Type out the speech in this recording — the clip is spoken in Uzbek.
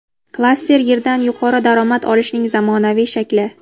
Klaster – yerdan yuqori daromad olishning zamonaviy shakli.